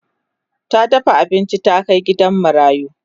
ta dafa abinci ta Kai gidan marayu